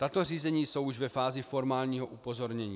Tato řízení jsou už ve fázi formálního upozornění.